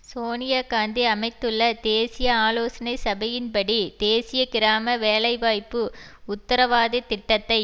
சோனிய காந்தி அமைத்துள்ள தேசிய ஆலோசனை சபையின்படி தேசிய கிராம வேலைவாய்ப்பு உத்தரவாதத்திட்டத்தை